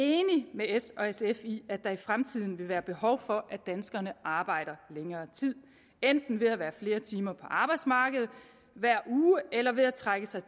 med s og sf i at der i fremtiden vil være behov for at danskerne arbejder længere tid enten ved at være flere timer på arbejdsmarkedet hver uge eller ved at trække sig